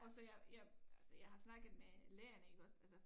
Og så jeg jeg altså jeg har snakket med lærene iggås altså